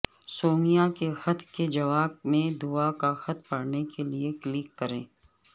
سومیا کے خط کے جواب میں دعا کا خط پڑھنے کے لیے کلک کریں